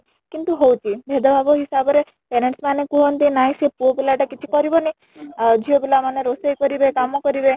କିନ୍ତୁ ହଉଛି , ଭେଦଭାବ ହିସାବ ରେ parents ମାନେ କୁହନ୍ତି ନାଇଁ ସେ ପୁଅ ପିଲା ଟା କିଛି କରିବନି ଝିଅ ପିଲା ମାନେ ରୋଷେଇ କରିବେ କାମ କରିବେ